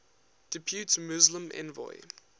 depute muslim envoy